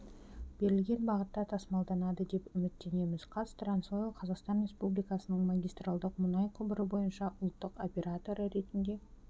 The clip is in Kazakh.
берілген бағытта тасымалданады деп үміттенеміз қазтрансойл қазақстан республикасының магистралдық мұнай құбыры бойынша ұлттық операторы ретінде